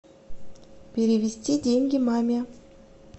перевести деньги маме